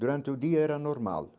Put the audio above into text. Durante o dia era normal.